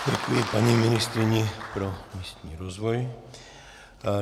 Děkuji paní ministryni pro místní rozvoj.